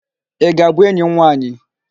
Ị ga-abụ enyi m nwaanyị?